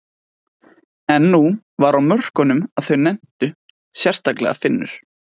En nú var á mörkunum að þau nenntu, sérstaklega Finnur.